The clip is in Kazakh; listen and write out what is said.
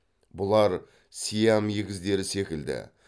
бұлар сиам егіздері секілді